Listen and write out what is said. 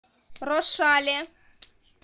рошале